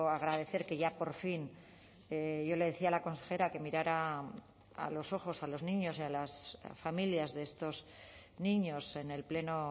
agradecer que ya por fin yo le decía a la consejera que mirara a los ojos a los niños y a las familias de estos niños en el pleno